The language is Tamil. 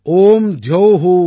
ॐ द्यौ शान्तिरन्तरिक्षॅं शान्ति